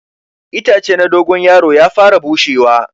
Itace na dogon yaro ya fara bushewa.